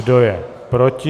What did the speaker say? Kdo je proti?